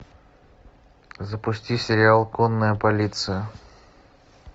запусти сериал конная полиция